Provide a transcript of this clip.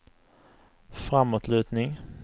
framåtlutning